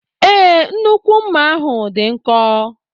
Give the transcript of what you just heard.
Ee, nnukwu mma ahu dị nkọ.